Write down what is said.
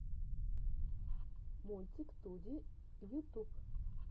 мультик туди ютуб